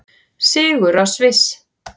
Sigur á Sviss